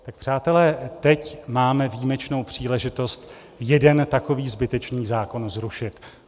Tak přátelé, teď máme výjimečnou příležitost jeden takový zbytečný zákon zrušit.